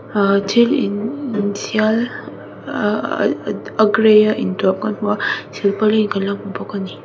ah thil in inthial ah ah a gray a in tuam kan hmu a silpauline kan lo hmu bawk ani.